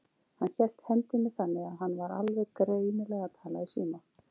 Hann hélt hendinni þannig, að hann var alveg greinilega að tala í síma.